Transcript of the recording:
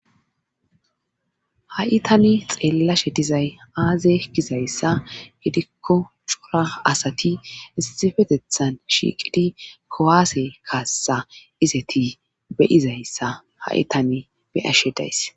Ha'itani xeellashe dizay aaze gizayssa gidikko cora asati isifetethan shiiqidi kowaase kaassa izeti beyizayssa ha'itan beyashedays.